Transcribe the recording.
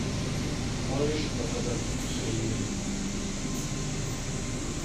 можешь показать хейвен